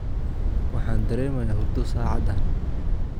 Waxaan dareemayaa hurdo saacadan